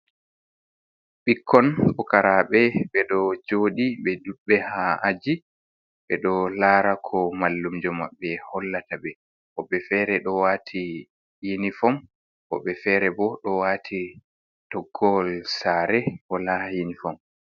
Ɓikkon pukaraɓe ɓeɗo jooɗii ɓe ɗuɓɓe haa aji ɓeɗo lara ko mallumjo maɓɓe hollataɓe woɓɓe fere do wati yinifom woɓɓe fere bo ɗo wati toggowol saare wala yinifom.